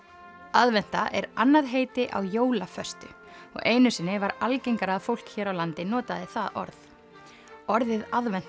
aðventa er annað heiti á jólaföstu og einu sinni var algengara að fólk hér á landi notaði það orð orðið aðventa